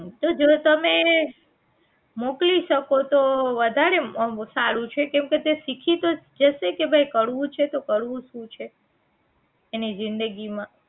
આમ તો જો તમે મોકલી શકો તો વધારે આમ સારું છે કેમકે તે શીખી તો જશે કે ભાઈ કરવું છે તો કરવું શું છે એની જિંદગી માં